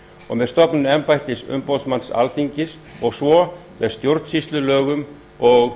og með stofnun embættis umboðsmanns alþingis svo og með stjórnsýslulögum og